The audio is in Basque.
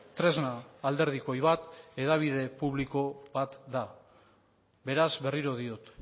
tresna alderdikoi bat hedabide publiko bat da beraz berriro diot